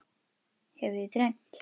Hefur þig dreymt?